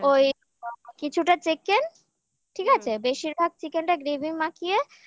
ওই কিছুটা chicken ঠিক আছে বেশিরভাগ chicken টা gravy